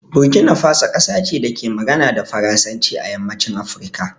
Burkina Faso kasa ce da ke magana da Faransanci a yammacin Afirka.